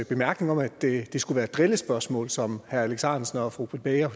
bemærkning om at det skulle være drillespørgsmål som herre alex ahrendtsen og fru britt bager